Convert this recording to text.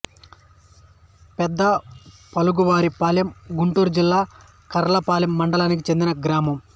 పెదపులుగు వారి పాలెం గుంటూరు జిల్లా కర్లపాలెం మండలానికి చెందిన గ్రామం